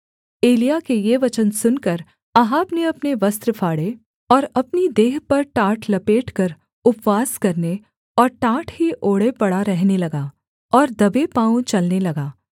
एलिय्याह के ये वचन सुनकर अहाब ने अपने वस्त्र फाड़े और अपनी देह पर टाट लपेटकर उपवास करने और टाट ही ओढ़े पड़ा रहने लगा और दबे पाँवों चलने लगा